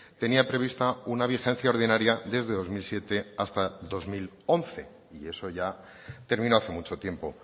tenía prevista una vigencia ordinaria desde dos mil siete hasta dos mil once y eso ya terminó hace mucho tiempo